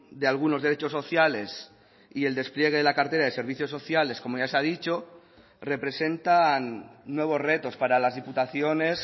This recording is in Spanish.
de algunos derechos sociales y el despliegue de la cartera de servicios sociales como ya se ha dicho representan nuevos retos para las diputaciones